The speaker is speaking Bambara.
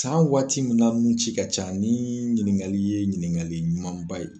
San waati min na nunci ka can ni ɲininkali ye ɲininkali ɲumanba ye.